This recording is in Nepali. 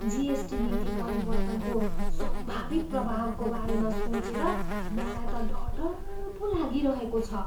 जिएसटी नीति परिवर्तनको सम्भावित प्रभावको बारेमा सोचेर मलाई त डर डर पो लागिरहेको छ।